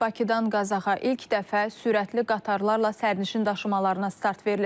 Bakıdan Qazaxa ilk dəfə sürətli qatarlarla sərnişin daşımalarına start verilir.